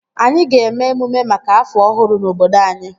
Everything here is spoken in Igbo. Anyị ga-eme emume maka afọ ọhụrụ na obodo anyị